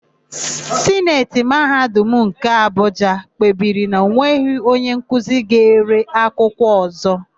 Sineti Mahadum nke Abụja kpebiri na enweghị onyenkuzi ga-ere akwụkwọ ọ̀zọ́.